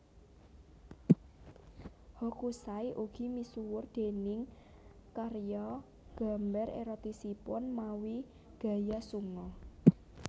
Hokusai ugi misuwur déning karya gambar erotisipun mawi gaya shunga